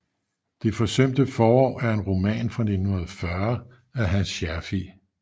Det forsømte forår er en roman fra 1940 af Hans Scherfig